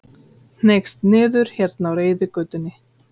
Hneigst niður hérna á reiðgötunni.